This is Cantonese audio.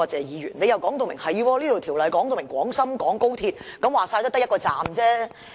他表示《條例草案》既已指明廣深港高鐵，說到底也只牽涉1個車站。